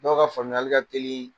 Dɔw ka faamuyali ka teli